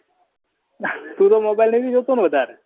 તુ તો mobile નહી જોતો ને વધાર